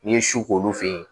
N'i ye su k'olu fe yen